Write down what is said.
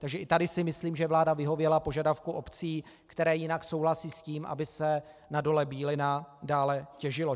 Takže i tady si myslím, že vláda vyhověla požadavkům obcí, které jinak souhlasí s tím, aby se na Dole Bílina dále těžilo.